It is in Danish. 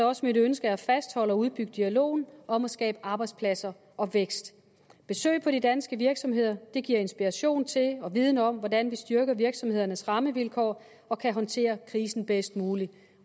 også mit ønske at fastholde og udbygge dialogen om at skabe arbejdspladser og vækst besøg på de danske virksomheder giver inspiration til og viden om hvordan vi styrker virksomhedernes rammevilkår og kan håndtere krisen bedst muligt